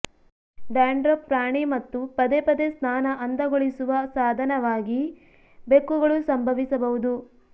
dandruff ಪ್ರಾಣಿ ಮತ್ತು ಪದೇ ಪದೇ ಸ್ನಾನ ಅಂದಗೊಳಿಸುವ ಸಾಧನವಾಗಿ ಬೆಕ್ಕುಗಳು ಸಂಭವಿಸಬಹುದು